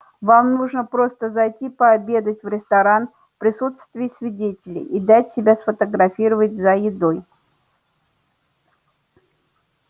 вам нужно просто зайти пообедать в ресторан в присутствии свидетелей и дать себя сфотографировать за едой